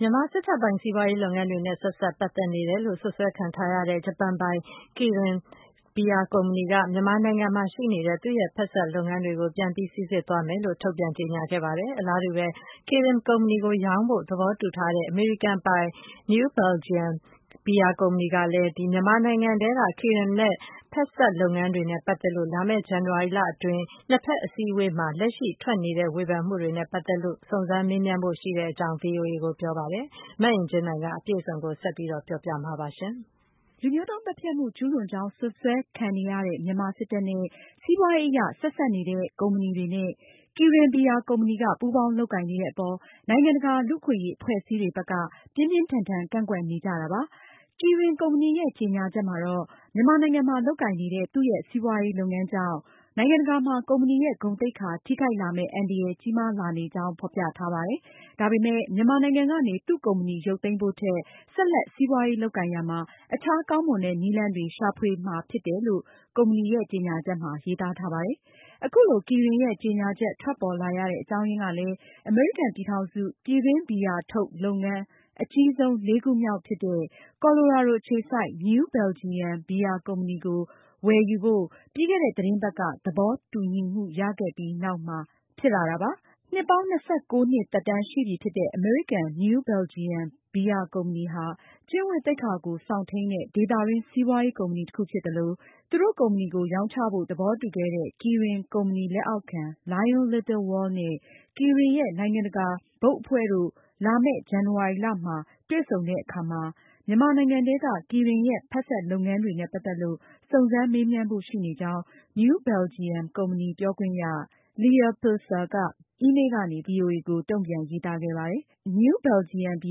မြန်မာစစ်တပ်ပိုင် စီးပွားရေးလုပ်ငန်းတွေနဲ့ ဆက်စပ်ပတ်သက်နေတယ်လို့ စွပ်စွဲခံထားရတဲ့ ဂျပန်ပိုင် Kirin ဘီယာကုမ္ပဏီက မြန်မာနိုင်ငံမှာရှိနေတဲ့ သူ့ရဲ့ဖက်စပ်လုပ်ငန်းတွေကို ပြန်ပြီးစိစစ်သွားမယ်လို့ ထုတ်ပြန်ကြေညာလိုက်ပါတယ်။ အလားတူဘဲ Kirin ကုမ္ပဏီကို ရောင်းချဖို့ သဘောတူထားတဲ့ အမေရိကန်ပိုင် New Belgium ဘီယာကုမ္ပဏီကလည်း မြန်မာနိုင်ငံထဲက Kirin ရဲ့ ဖက်စပ် လုပ်ငန်းတွေနဲ့ပတ်သက်လို့ လာမယ့် ဇန်နဝါရီလအတွင်း နှစ်ဖက် အစည်းအဝေးထိုင်ရာမှာ လက်ရှိ ထွက်ပေါ်နေတဲ့ ဝေဖန်မှုတွေနဲ့ ပတ်သက်လို့ စုံစမ်းမေးမြန်းဖို့ရှိနေကြောင်း ဗွီအိုအေကို ပြောပါတယ်။ မအင်ကြင်းနိုင်က အပြည့်အစုံကို ဆက်လက်တင်ပြမှာပါ။ လူမျိုးတုံးသတ်ဖြတ်မှု ကျူးလွန်ကြောင်းစွပ်စွဲခံနေရတဲ့ မြန်မာစစ်တပ်နဲ့ စီးပွားရေးအရ ဆက်စပ်နေတဲ့ ကုမ္ပဏီတွေနဲ့ Kirin ဘီယာကုမ္ပဏီက ပူးပေါင်းလုပ်ကိုင်နေတဲ့အပေါ် နိုင်ငံတကာ လူ့အခွင့်အရေးအဖွဲ့အစည်းတွေ ဘက်က ပြင်းပြင်းထန်ထန်ကန့်ကွက်နေကြတာဖြစ်ပါတယ်။ Kirin ကုမ္ပဏီရဲ့ ကြေညာချက်မှာတော့ မြန်မာနိုင်ငံမှာ လုပ်ကိုင်နေတဲ့ သူ့ရဲ့ စီးပွားရေးလုပ်ငန်းကြောင့် နိုင်ငံတကာမှာ ကုမ္ပဏီရဲ့ ဂုဏ်သိက္ခာထိခိုက်လာမယ့် အန္တရာယ်ကြီးမားလာနေကြောင်း ဖေါ်ပြထားပါတယ်။ ဒါပေမယ့် မြန်မာနိုင်ငံကနေ သူ့ကုမ္ပဏီရုပ်သိမ်းဖို့ထက် ဆက်လက် စီးပွားရေးလုပ်ကိုင်ရာမှာ အခြားကောင်းမွန်တဲ့ နည်းလမ်းတွေရှာဖွေမှာဖြစ်တယ်လို့ ကုမ္ပဏီကြေညာချက်မှာ ရေးသားထားပါတယ်။ အခုလို Kirin ရဲ့ကြေညာချက် ထွက်ပေါ်လာရတဲ့ အကြောင်းအရင်းကလည်း အမေရိကန်ပြည်ထောင်စု ပြည်တွင်းဘီယာထုတ်လုပ်ငန်း အကြီးဆုံး လေးခုမြောက်ဖြစ်တဲ့ ကော်လိုရာဒိုအခြေစိုက် New Belgium ဘီယာကုမ္ပဏီကို ဝယ်ယူဖို့ ပြီးခဲ့တဲ့ သီတင်းပတ်က သဘောတူညီမှုရခဲ့ပြီးတဲ့နောက်မှာ ဖြစ်ပါတယ်။ နှစ်ပေါင်း ၂၉နှစ်သက်တမ်းရှိပြီးဖြစ်တဲ့ အမေရိကန် New Belgium ဘီယာကုမ္ပဏီဟာ ကျင့်ဝတ်သိက္ခာကို စောင့်ထိန်းတဲ့ ဒေသတွင်းစီးပွားရေးကုမ္ပဏီတခုဖြစ်သလို၊ သူတို့ကုမ္ပဏီကိုရောင်းချဖို့ သဘောတူခဲ့တဲ့ Kirin ကုမ္ပဏီလက်အောက်ခံ Lion Little World နဲ့ Kirin ရဲ့ နိုင်ငံတကာဘုတ်အဖွဲ့တို့နဲ့ လာမယ့် ဇန်နဝါရီလမှာ တွေ့ဆုံဆွေးနွေးတဲ့အခါမှာ မြန်မာနိုင်ငံထဲက Kirin ရဲ့ ဖက်စပ်လုပ်ငန်းတွေနဲ့ပတ်သက်လို့ စုံစမ်းမေးမြန်းဖို့ရှိနေကြောင်း New Belgium ကုမ္ပဏီ ပြောခွင့်ရ Leah Pilcer က အီးမေးလ်ကနေ ဗွီအိုအေကို တုံ့ပြန်ရေးသားခဲ့ပါတယ်။ New Belgium ဘီ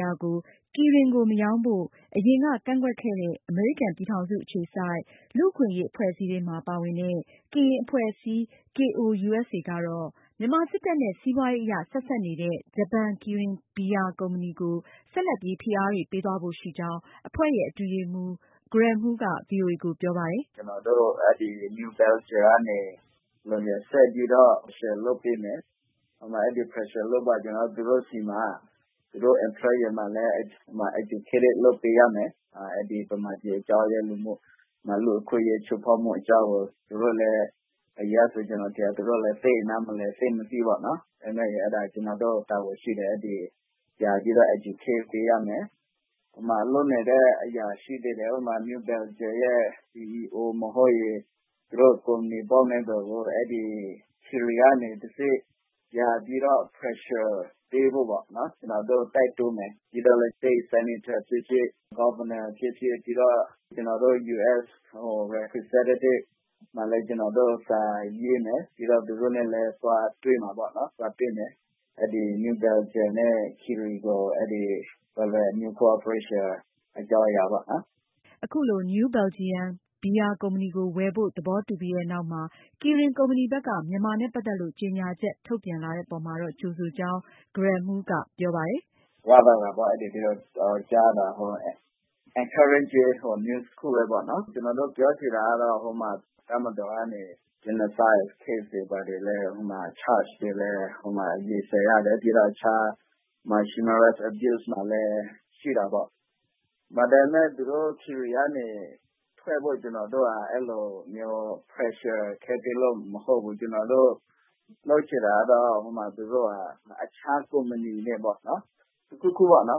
ယာကို Kirin ကို မရောင်းဖို့ အရင်က ကန့်ကွက်ခဲ့တဲ့ အမေရိကန်ပြည်ထောင်စု အခြေစိုက် လူ့အခွင့်အရေးအဖွဲ့အစည်းတွေထဲမှာ ပါဝင်တဲ့ ကရင်အဖွဲ့အစည်း KOUSA ကတော့ မြန်မာစစ်တပ်နဲ့ စီးပွားရေး အရ ဆက်စပ်နေတဲ့ ဂျပန် Kirin ဘီယာကုမ္ပဏီကို ဆက်လက်ပြီး ဖိအားတွေ ပေးသွားဖို့ရှိကြောင်း အဖွဲ့ရဲ့အတွင်းရေးမှူး Greh Moo က ဗွီအိုအေကိုပြောပါတယ်။ “ပထမတခုကတော့ ကျနော်တို့ New Belgium ကို ဆက်ပြီးတော့ pressure လုပ်ပေးမယ်။ အဲဒါ pressure လုပ်ပြီးမှ သူတို့ employee တွေကိုလည်း educate လုပ်ပေးရမယ်။ မြန်မာပြည်အကြောင်း လူ့အခွင့်အရေးချိုးဖောက်မှုတွေကိုလည်း သူတို့ အရင်ကဆိုရင် သိပ်မသိ ၊ သိပ်နားမလည်တာတွေကို သိဖို့ ကျနော်တို့မှာ တာဝန်ရှိတယ် သူတို့ကို educate လုပ်ပေးရမယ်။ လုပ်နေတဲ့အရာရှိတွေ ၊ သူတို့ ကုမ္ပဏီ ဘုတ်အဖွဲ့ကို Kirin ကနေတဆင့် ပြန်ပြီးတော့ pressure ပေးဖို့ပေါ့နော် ကျနော်တို့ တိုက်တွန်းမယ်၊ ပြီးတော့ State senator ဖြစ်ဖြစ်၊ Governor ဖြစ်ဖြစ်ပြီးတော့ ကျနော်တို့ US representatives တွေဆီမှာလည်း စာရေးမယ် ပြီးတော့ သူတို့နဲ့လည်း သွားတွေ့မှာပေါ့နော် New Belgium နဲ့ Kirin cooperation အကြောင်းအရာနဲ့ ပတ်သက်ပြီးတော့ပေါ့နော်။” အခုလို New Belgium ဘီယာကုမ္ပဏီကို ဝယ်ဖို့ သဘောတူပြီးတဲ့နောက်မှာ Kirin ကုမ္ပဏီဘက်က မြန်မာနဲ့ ပတ်သက်လို့ ကြေညာချက်ထုတ်ပြန်လာတဲ့အပေါ်မှာ ကြိုဆိုကြောင်း Greh Moo ကဆိုပါတယ်။ “ဒါကို ကြားရတာက Encouraging news တခုပဲပေါ့နော်။ ကျနော်တို့ ပြောချင်တာက တပ်မတော်ကနေ Genocide case တွေဘာတွေလည်း charge ခံနေရတယ် ပြီးတော့ Human rights abuse တွေလည်း ရှိတာပေါ့။ ဒါပေမယ့် သူတို့ Kirin ကနေ ထွက်ဖို့အတွက် ကျနော်တို့ Pressure လုပ်တာမဟုတ်ဘူး။ ကျနော်တို့လုပ်ချင်တာက သူတို့ဟာ အခြား ကုမ္ပဏီနဲ့ပေါ့ ၊ တခုခုပေါ့ တ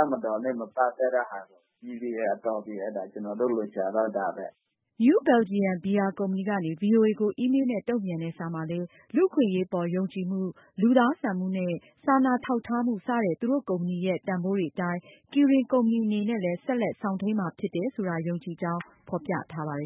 ပ်မတော်နဲ့ မပတ်သက်ဖို့ပေါ့နော် ကျနော်တို့ လိုချင်တာက ဒါပါပဲ။” New Belgium ဘီယာကုမ္ပဏီကနေ ဗွီအိုအေကို အီးမေးလ်နဲ့ တုံ့ပြန်တဲ့ စာမှာလည်း လူအခွင့်အရေး အပေါ်ယုံကြည်မှု၊ လူသားဆန်မှုနဲ့ စာနာထောက်ထားမှု စတဲ့ သူတို့ ကုမ္ပဏီရဲ့ တန်ဖိုးတွေအတိုင်း Kirin ကုမ္ပဏီအနေနဲ့လည်း ဆက်လက်စောင့်ထိန်းမှာုဖြစ်တယ်ဆိုတာ ယုံကြည်ကြောင်း ဖေါ်ပြထားပါတယ်